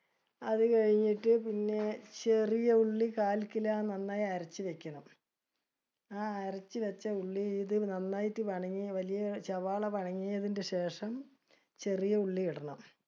അത് കഴിഞ്ഞിട്ട് പിന്നെ, ചെറിയ ഉള്ളി കാൽ kilo നന്നായി അരച്ച് വെക്കണം. ആ അരച്ചുവെച്ച ഉള്ളി ഇതില്‍ നന്നായിട്ട് വലിയ സവാള ശേഷം, ചെറിയ ഉള്ളി ഇടണം